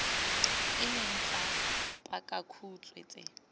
e leng tsa pakakhutshwe tse